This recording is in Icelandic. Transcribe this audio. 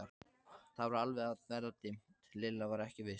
Það var alveg að verða dimmt, Lilla var ekki viss.